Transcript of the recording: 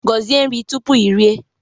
Gọzie nri tupu i rie!